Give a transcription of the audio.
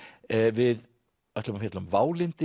við ætlum að fjalla um